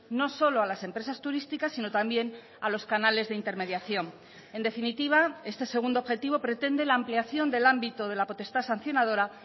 no solo a las empresas turísticas sino también a los canales de intermediación en definitiva este segundo objetivo pretende la ampliación del ámbito de la potestad sancionadora